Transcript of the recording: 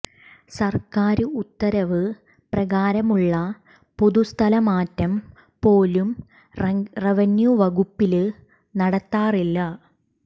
സര്ക്കാര് ഉത്തരവ് പ്രകാരമുള്ള പൊതു സ്ഥലംമാറ്റം പോലും റവന്യൂ വകുപ്പില് നടത്താറില്ല